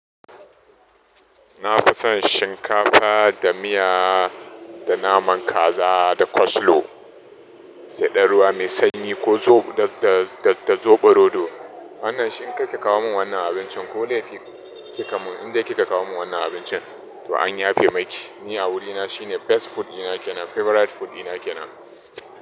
Na fi son shinkafa da miya da naman kaza da coslaw, sai da ruwa mai sanyi ko da, da soɓo rodo. Wannan shi in ki ka kawo min wannan abincin ko laifi ki ka mun, in dai ki ka kawo min wannan abincin to an yafe maki. Ni a wurina shine best food dina ke nan favorite food dina ke nan.